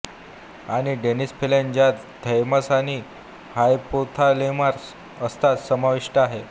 आणि डीनेसफेलन ज्यात थैमास आणि हायपोथालेमस असतात समाविष्ट आहे